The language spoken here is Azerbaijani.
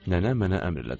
Nənə mənə əmr elədi.